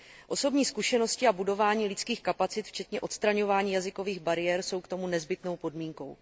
Osobní zkušenosti a budování lidských kapacit včetně odstraňování jazykových bariér jsou k tomu nezbytnou podmínkou.